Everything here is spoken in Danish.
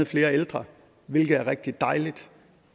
flere ældre hvilket er rigtig dejligt